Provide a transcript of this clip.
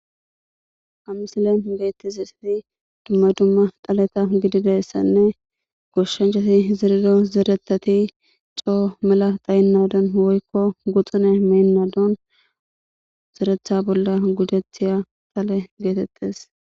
amisilen beytti ziseti dumma dumma dhaleta gididayssanne goshshancati zirido zeretati coo mela dhayinnadon woykko guxune meennadon zeretha bolla gudethaya tale geetettes